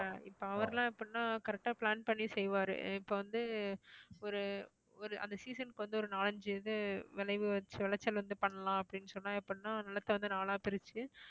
ஆஹ் இப்ப அவர்லாம் எப்படின்னா correct ஆ plan பண்ணி செய்வாரு இப்ப வந்து ஒரு ஒரு அந்த season க்கு வந்து ஒரு நாலஞ்சு இது விளைவு விளைச்சல் வந்து பண்ணலாம் அப்படின்னு சொன்னா எப்படின்னா நிலத்தை வந்து நாலா பிரிச்சு